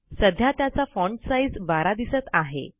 सध्या त्याचा font size 12 दिसत आहे